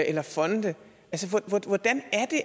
eller fonde hvordan